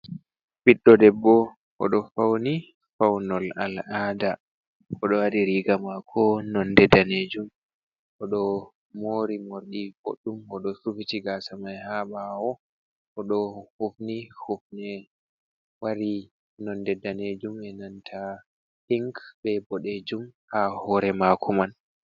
Ɓiɗdo debbo oɗo fauni faunol al'ada. Oɗo waɗi riga mako nonde danejum. Oɗo mori morɗi boɗɗum, oɗo sufiti gasa mai ha ɓawo, oɗo hufni hufnere mari nonde danejum e nanta pink be ɓoɗejum ha hore mako man.